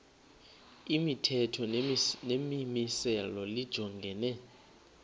imithetho nemimiselo lijongene